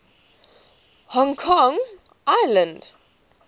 hong kong island